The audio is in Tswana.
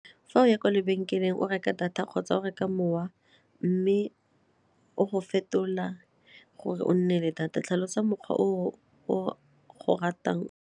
Fa o ya kwa lebenkeleng o reka data kgotsa o reka mowa mme o go fetola gore o nne le data tlhalosa mokgwa o o ratang.